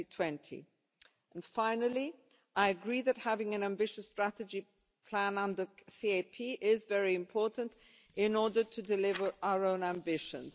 2020. And finally, I agree that having an ambitious strategy plan on the CAP is very important in order to deliver on our own ambitions.